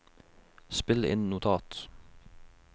spill inn notat